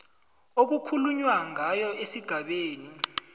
okukhulunywa ngayo esigabeni